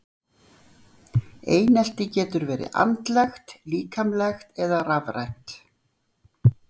Einelti getur verið andlegt, líkamlegt eða rafrænt.